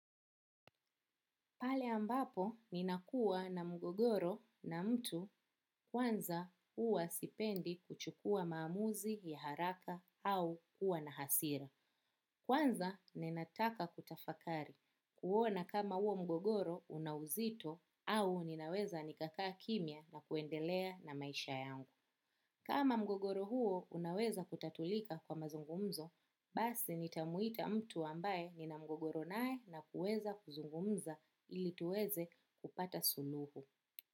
Pale ambapo ninakua na mgogoro na mtu kwanza uwa sipendi kuchukua maamuzi ya haraka au kuwa na hasira. Kwanza ninataka kutafakari kuona kama uwo mgogoro unauzito au ninaweza nikakaa kimia na kuendelea na maisha yangu. Kama mgogoro huo unaweza kutatulika kwa mazungumzo, basi nitamuita mtu ambaye nina mgogoro nae na kuweza kuzungumza ili tuweze kupata suluhu.